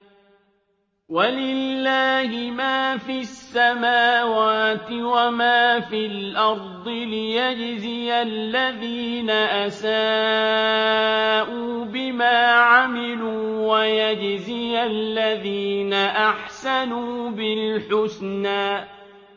وَلِلَّهِ مَا فِي السَّمَاوَاتِ وَمَا فِي الْأَرْضِ لِيَجْزِيَ الَّذِينَ أَسَاءُوا بِمَا عَمِلُوا وَيَجْزِيَ الَّذِينَ أَحْسَنُوا بِالْحُسْنَى